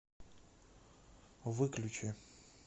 выключи